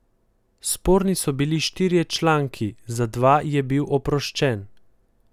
Sporni so bili štirje članki, za dva je bil oproščen.